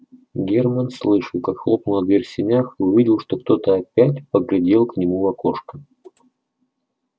германн слышал как хлопнула дверь в сенях и увидел что кто-то опять поглядел к нему в окошко